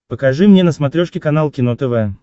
покажи мне на смотрешке канал кино тв